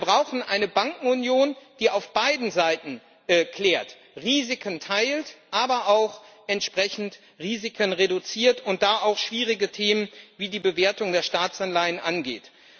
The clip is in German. Wir brauchen eine Bankenunion, die auf beiden Seiten klärt, Risiken teilt, aber auch entsprechend Risiken reduziert und da auch schwierige Themen wie die Bewertung der Staatsanleihen angeht.